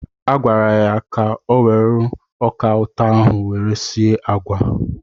Agwara ya were ọka ụtọ ahụ were sie agwa!